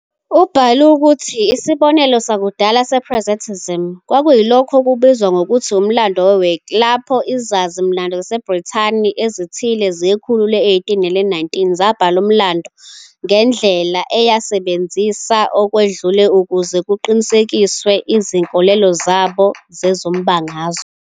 Ubhale ukuthi "isibonelo sakudala" se-presentism kwakuyilokho okubizwa ngokuthi " umlando we-Whig ", lapho izazi-mlando zaseBrithani ezithile zekhulu le-18 nele-19 zabhala umlando ngendlela eyasebenzisa okwedlule ukuze kuqinisekiswe izinkolelo zabo zezombangazwe.